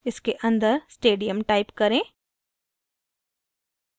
इसके अंदर stadium type करें